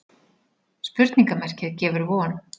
Spurningarmerkið gefur von.